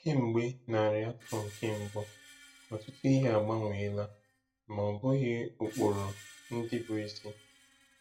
Kemgbe narị afọ nke mbụ, ọtụtụ ihe agbanweela—ma ọ bụghị ụkpụrụ ndị bụ isi.